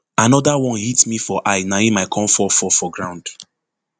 anoda one hit me for eye na im i kon fall fall for ground